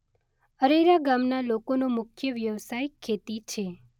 અરેરા ગામના લોકોનો મુખ્ય વ્યવસાય ખેતી છે.